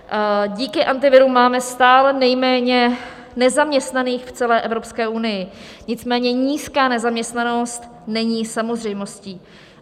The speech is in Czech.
Díky Antiviru máme stále nejméně nezaměstnaných v celé Evropské unii, nicméně nízká nezaměstnanost není samozřejmostí.